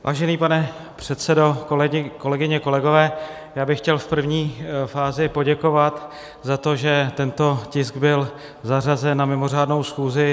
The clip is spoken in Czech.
Vážený pane předsedo, kolegyně, kolegové, já bych chtěl v první fázi poděkovat za to, že tento tisk byl zařazen na mimořádnou schůzi.